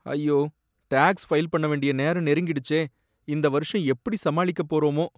ஐயோ! Tax file பண்ண வேண்டிய நேரம் நெருங்கிடுச்சே, இந்த வருஷம் எப்படி சமாளிக்கப் போறோமோ!